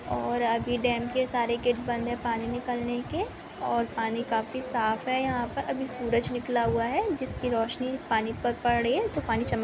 और अभी डैम के सारे गेट बंद हैं पानी निकलने के और पानी काफी साफ़ हैं यहाँ पर अभी सूरज निकला हुआ हैं जिसकी रौशनी पानी पर पड़ रही हैं तो पानी चमक--